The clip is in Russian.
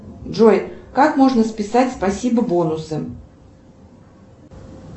джой как можно списать спасибо бонусы